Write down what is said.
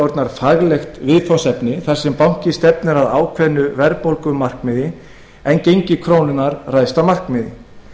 orðnar faglegt viðfangsefni þar sem bankinn stefnir að ákveðnu verðbólgumarkmiði en gengi krónunnar ræðst af markaði